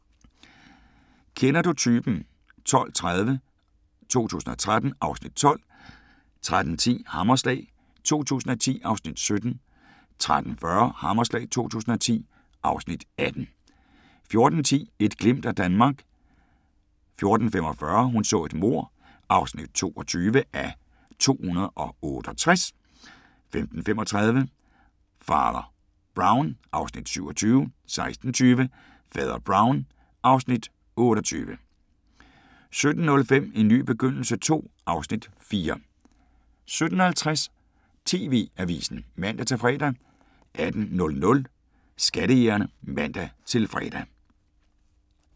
12:30: Kender du typen? 2013 (Afs. 12) 13:10: Hammerslag 2010 (Afs. 17) 13:40: Hammerslag 2010 (Afs. 18) 14:10: Et glimt af Danmark 14:45: Hun så et mord (22:268) 15:35: Fader Brown (Afs. 27) 16:20: Fader Brown (Afs. 28) 17:05: En ny begyndelse II (Afs. 4) 17:50: TV-avisen (man-fre) 18:00: Skattejægerne (man-fre)